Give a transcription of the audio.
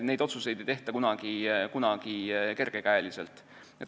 Neid otsuseid ei tehta kunagi kergekäeliselt.